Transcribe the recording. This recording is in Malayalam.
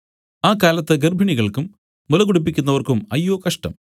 ആ കാലത്ത് ഗർഭിണികൾക്കും മുല കുടിപ്പിക്കുന്നവർക്കും അയ്യോ കഷ്ടം